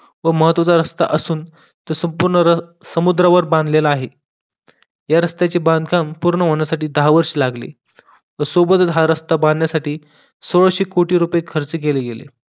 व महत्वाचा रास्ता असून तो संपूर्ण रन बांधलेला आहे या रस्त्याचे बांधकाम पूर्ण होण्यासाठी दहा वर्ष लागली सोबतच हा रास्ता बांधण्यासाठी सव्वाशे कोटी रुपये खर्च केले गेले